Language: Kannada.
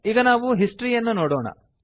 ಈಗ ನಾವು ಹಿಸ್ಟರಿ ಯನ್ನು ನೋಡೋಣ